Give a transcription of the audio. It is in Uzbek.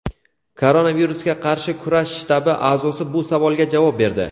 Koronavirusga qarshi kurash shtabi a’zosi bu savolga javob berdi.